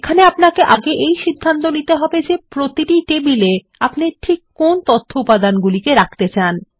এখানে আপনাকে সিদ্ধান্ত নিতে হবে প্রতিটি টেবিলে আপনি ঠিক কোন তথ্য উপাদানগুলিকে রাখতে চান